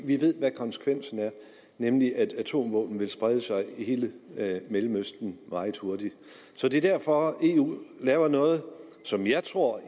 vi ved hvad konsekvensen er nemlig at atomvåben vil sprede sig i hele mellemøsten meget hurtigt så det er derfor eu laver noget som jeg tror